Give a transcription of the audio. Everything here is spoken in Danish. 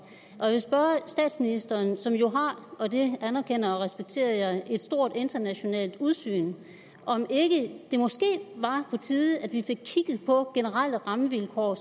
jeg vil spørge statsministeren som jo og det anerkender og respekterer jeg har et stort internationalt udsyn om ikke det måske var på tide at vi fik kigget på generelle rammevilkår